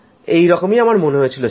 এই রকমই মনে হয়েছিল